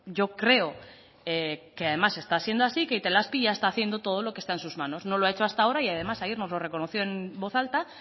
yo creo que además está siendo así que itelazpi ya está haciendo todo lo que está en sus manos no lo ha hecho hasta ahora y además ayer nos lo reconoció en voz alta